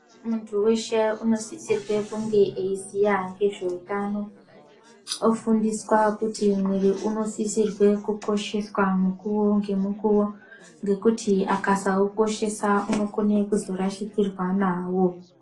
Muntu weshe inosisirwa kunge eiziva ngezvehutano ofundiswa kuti mwiri unosisarwa kukosheswa mukuwo ngemukuwo ngekuti Akasaukoshesa unokona kurashikirwa nawo.